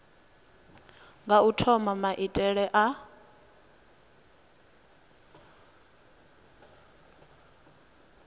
nga u thoma maitele a